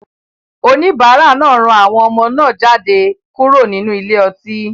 Oníbàárà náà rán àwọn ọmọ náà jáde kúrò nínú ile-ọtí.